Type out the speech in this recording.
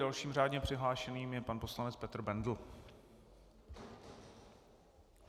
Dalším řádně přihlášeným je pan poslanec Petr Bendl.